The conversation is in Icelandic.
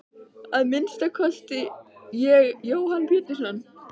Að minnsta kosti ég Jóhann Pétursson.